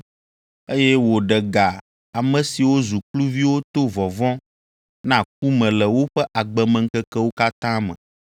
eye wòɖe ga ame siwo zu kluviwo to vɔvɔ̃ na ku me le woƒe agbemeŋkekewo katã me.